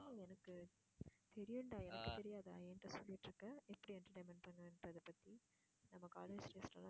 எனக்கு தெரியும்டா எனக்கு தெரியாதா என்கிட்ட சொல்லிட்டு இருக்க எப்படி entertainment பண்ணலான்றதைப்பத்தி நம்ம college days ல எல்லாம்